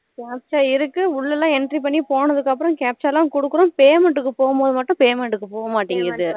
captcha ஆ இருக்கு உள்ளலாம் entry பண்ணி போனதுக்கு அப்றம் captcha லாம் குடுக்குறோம் payment போகும் போது payment க்கு போக மாட்டுக்கு